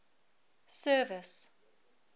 service